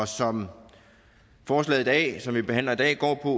som forslaget som vi behandler i dag går på